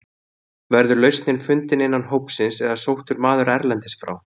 Verður lausnin fundin innan hópsins eða sóttur maður erlendis frá?